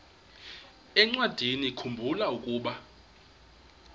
encwadiniwakhu mbula ukuba